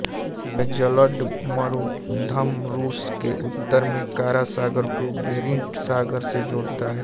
यह जलडमरूमध्य रूस के उत्तर में कारा सागर को बेरिंट सागर से जोड़ता है